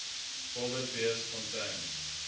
wildebeestfontein